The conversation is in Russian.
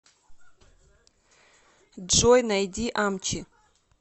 джой найди амчи